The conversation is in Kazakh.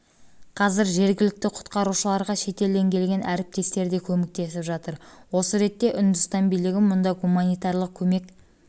қазір жергілікті құтқарушыларға шетелден келген әріптестері де көмектесіп жатыр осы ретте үндістан билігі мұнда гуманитарлық көмек